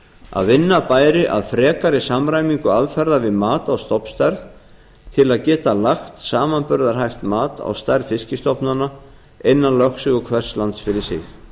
að vinna bæri að frekari samræmingu aðferða við mat á stofnstærð til að geta lagt samanburðarhæft mat á stærð fiskstofnana innan lögsögu hvers lands fyrir sig